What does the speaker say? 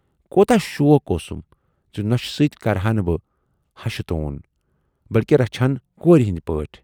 کوٗتاہ شوق اوسُم زِ نۅشہِ سۭتۍ کرٕہا نہٕ بہٕ ہشہِ توٗن، بٔلۍکہِ رچھِہن کوٗرِ ہٕندۍ پٲٹھۍ۔